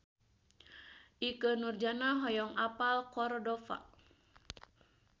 Ikke Nurjanah hoyong apal Cordova